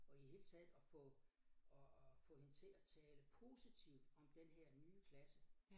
Og i det hele taget at få at at få hende til at tale positivt om den her nye klasse